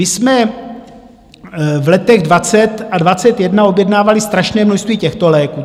My jsme v letech 2020 a 2021 objednávali strašné množství těchto léků.